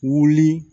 Wuli